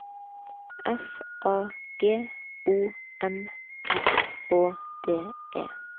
F A G O M R Å D E